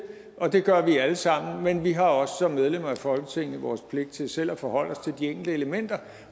og det gør vi alle sammen men vi har også som medlemmer af folketinget vores pligt til selv at forholde os til de enkelte elementer